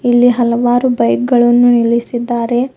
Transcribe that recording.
ಇಲ್ಲಿ ಹಲವಾರು ಬೈಕ್ ಗಳನ್ನು ನಿಲ್ಲಿಸಿದ್ದಾರೆ.